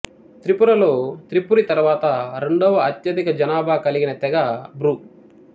త్రిపురలో త్రిపురి తరువాత రెండవ అత్యధిక జనాభా కలిగిన తెగ బ్రూ